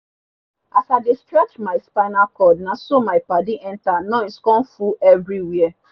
as i dey stretch mi spinal cord naso mi padi enta noise con full everi where